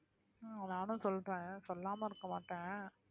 நானும் சொல்றேன் சொல்லாம இருக்க மாட்டேன்